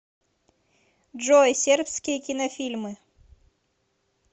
джой сербские кинофильмы